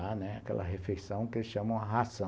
Aquela refeição que eles chamam de ração.